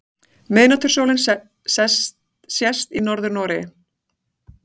Miðnætursólin sést í Norður-Noregi.